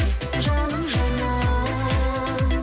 жаным жаным